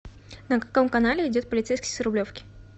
на каком канале идет полицейский с рублевки